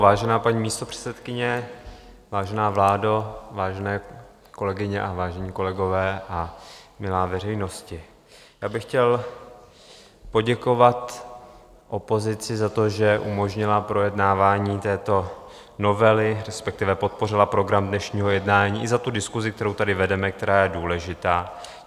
Vážená paní místopředsedkyně, vážená vládo, vážené kolegyně a vážení kolegové a milá veřejnosti, já bych chtěl poděkovat opozici za to, že umožnila projednávání této novely, respektive podpořila program dnešního jednání, i za tu diskusi, kterou tady vedeme, která je důležitá.